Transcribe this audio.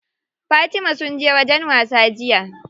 Fatima sun je wajen wasa jiya.